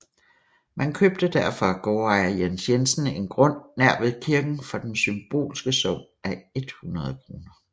Man købte derfor af gårdejer Jens Jensen en grund nær ved kirken for den symbolske sum af 100 kroner